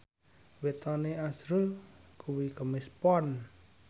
wetone azrul kuwi Kemis Pon